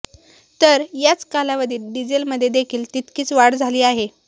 तर याच कालावधीत डिझेलमध्ये देखील तितकीच वाढ झाली आहे